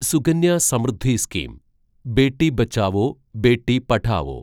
Sukanya Samriddhi scheme Beti Bachao Beti Padhao